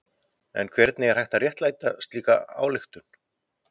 En hvernig er hægt að réttlæta slíka ályktun?